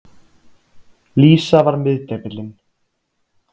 Lísa var miðdepillinn.